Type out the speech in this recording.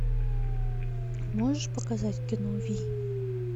можешь показать кино вий